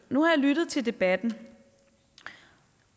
nu har jeg lyttet til debatten